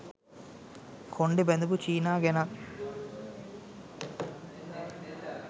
කොණ්ඩෙ බැඳපු චීනා ගැනත්